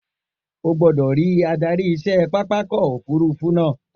O gbọ́dọ̀ rí adarí iṣẹ́ pápákọ̀ òfurufú náà